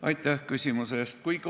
Aitäh küsimuse eest!